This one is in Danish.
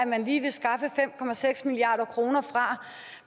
man lige vil skaffe fem milliard kroner fra